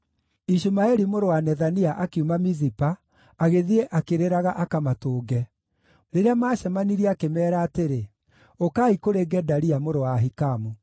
Ishumaeli mũrũ wa Nethania akiuma Mizipa, agĩthiĩ akĩrĩraga akamatũnge. Rĩrĩa maacemanirie akĩmeera atĩrĩ, “Ũkaai kũrĩ Gedalia mũrũ wa Ahikamu.”